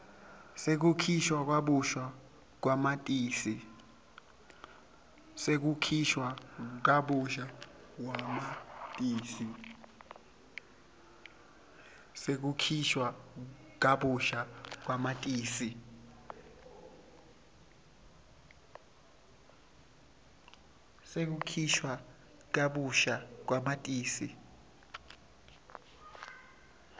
sekukhishwa kabusha kwamatisi